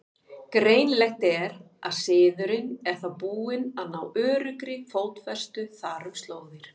Greinilegt er, að siðurinn er þá búinn að ná öruggri fótfestu þar um slóðir.